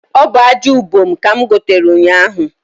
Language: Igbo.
Ọ bụ aja ubom ka m gotere ụnyahu